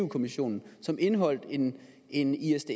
kommissionen som indeholdt en en isds